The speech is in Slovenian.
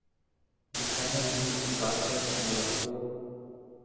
Bi kaj naredili drugače, če bi lahko?